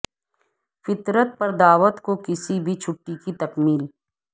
فطرت پر دعوت کو کسی بھی چھٹی کی تکمیل